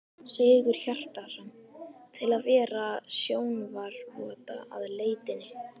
Sigurhjartarson, til að vera sjónarvotta að leitinni.